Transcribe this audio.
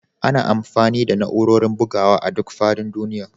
Ana amfani da na'urorin bugawa a duk faɗin duniya